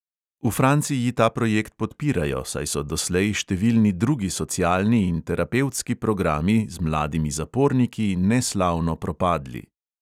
V franciji ta projekt podpirajo, saj so doslej številni drugi socialni in terapevtski programi z mladimi zaporniki neslavno propadli.